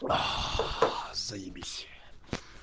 заибись